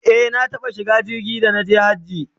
e na taɓa shiga jirgi da naje hajji